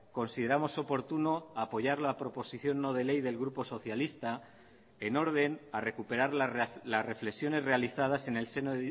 consideramos oportuno apoyar la proposición no de ley del grupo socialista en orden a recuperar las reflexiones realizadas en el seno